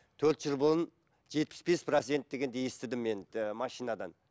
төрт жыл бұрын жетпіс бес процент дегенді естідім мен ыыы машинадан